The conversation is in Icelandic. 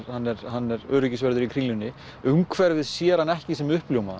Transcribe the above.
hann er hann er öryggisvörður í Kringlunni umhverfið sér hann ekki sem